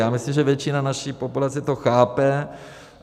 Já myslím, že většina naší populace to chápe.